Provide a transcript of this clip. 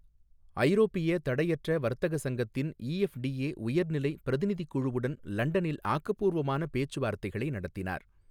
ஐரோப்பிய தடையற்ற வர்த்தக சங்கத்தின் இஎஃப்டிஏ உயர்நிலை பிரதிநிதிக்குழுவுடன் லண்டனில் ஆக்கப்பூர்வமான பேச்சு வார்த்தைகளை நடத்தினார்